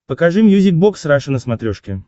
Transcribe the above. покажи мьюзик бокс раша на смотрешке